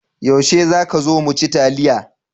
Yaushe za ka zo mu ci taliya?